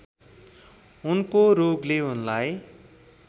उनको रोगले उनलाई